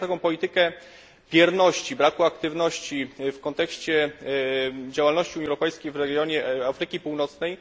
Dzisiaj na taką politykę bierności, braku aktywności w kontekście działalności europejskiej w regionie Afryki Północnej.